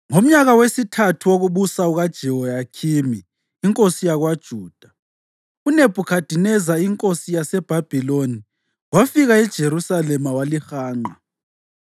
Ngomnyaka wesithathu wokubusa kukaJehoyakhimi inkosi yakwaJuda, uNebhukhadineza inkosi yaseBhabhiloni wafika eJerusalema walihanqa.